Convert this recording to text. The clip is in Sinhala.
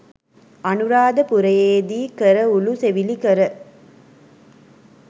අනුරාධපුර‍යේදී කර උළු සෙවිලි කර